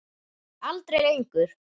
Aldrei lengur.